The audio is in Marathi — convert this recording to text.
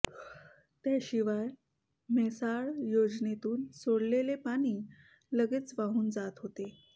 त्या शिवाय म्हैसाळ योजनेतून सोडलेले पाणी लगेच वाहून जात होते